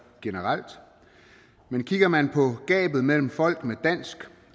generelt men kigger man på gabet mellem folk af dansk